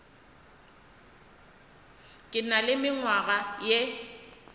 ke na le mengwaga ye